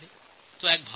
এটি একটি ভাল প্রচেষ্টা